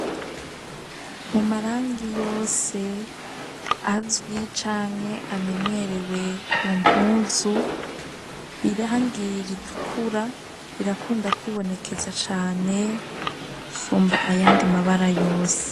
Mu marangi yose azwi canke amenyerewe ku mpuzu irangr itukura irakunda kwibonekeza cane gusumba ayandi mabara yose